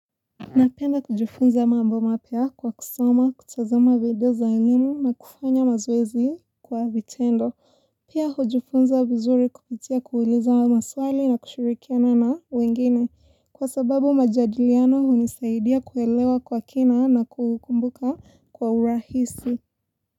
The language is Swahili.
Napenda kujifunza mambo mapya kwa kusoma, kutazama video za elimu na kufanya mazoezi kwa vitendo. Pia hujufunza vizuri kupitia kuulizwa maswali na kushurikiana na wengine. Kwa sababu majadiliano hunisaidia kuelewa kwa kina na kukumbuka kwa urahisi.